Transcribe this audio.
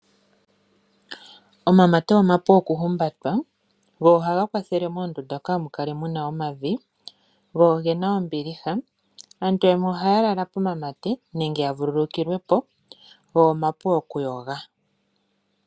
Omamate omapu okuhumbatwa. Go ohaga kwathele moondunda kaamu kale mu na omavi. Go ge na ombiliha. Aantu yamwe ohaya lala pomamate nenge ya vululukilwe po. Go omapu okuyoga.